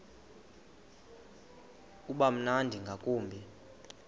uba mnandi ngakumbi